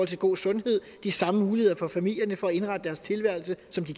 til god sundhed de samme muligheder for familierne for at indrette deres tilværelse som de